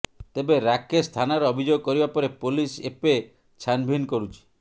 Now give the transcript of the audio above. ତେବେ ରାକେଶ ଥାନାରେ ଅଭିଯୋଗ କରିବା ପରେ ପୋଲିସ ଏପେ ଛାନଭିନ୍ କରୁଛି